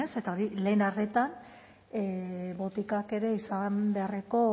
ez eta hori lehen arretan botikak izan beharreko